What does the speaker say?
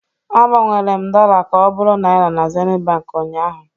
Agbanwere m dollar ka ọ bụrụ naira na Zenith Bank ụnyahụ